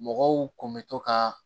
Mɔgɔw kun bɛ to ka